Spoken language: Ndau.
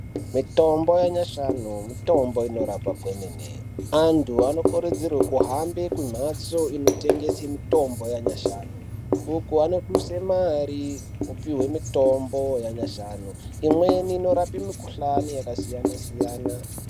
Mitombo yanyashanu mitombo inorapa kwemene. Antu anokuridzirwe kuhambe kumhatso kunotengeswe mitombo yanyashanu uku anoduse mare kutenge mitombo yanyashanu imweni inorape mikhuhlani yakasiyana-siyana .